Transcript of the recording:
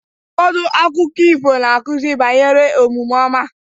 Ụfọdụ akụkọ ifo na-akụzi banyere omume ọma.